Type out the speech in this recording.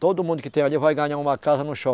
Todo mundo que tem ali vai ganhar uma casa no